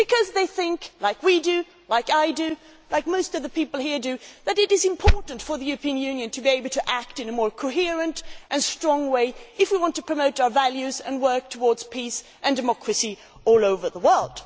This is because they think like we do, like I do, like most people here do that it is important for the European Union to be able to act in a more coherent and stronger way if we want to promote our values and work towards peace and democracy all over the world.